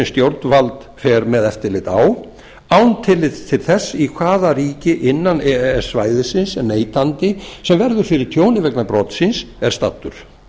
stjórnvald fer með eftirlit á án tillits til þess í hvaða ríki innan e e s svæðisins neytandi sem verður fyrir tjóni vegna brotsins er staddur